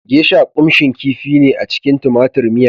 Geisha kunshin kifi ne a cikin tumatir miya